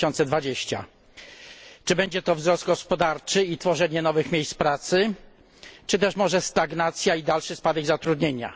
2020. Czy będzie to wzrost gospodarczy i tworzenie nowych miejsc pracy, czy też może stagnacja i dalszy spadek zatrudnienia?